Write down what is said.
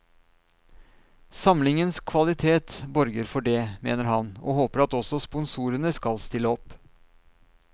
Samlingens kvalitet borger for det, mener han, og håper at også sponsorene skal stille opp.